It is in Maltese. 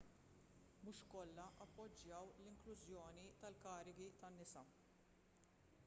mhux kollha appoġġjaw l-inklużjoni tal-karigi tan-nisa